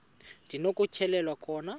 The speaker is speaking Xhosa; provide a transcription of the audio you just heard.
ndi nokutyhilelwa khona